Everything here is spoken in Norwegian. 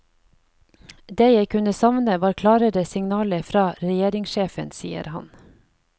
Det jeg kunne savne var klarere signaler fra regjeringssjefen, sier han.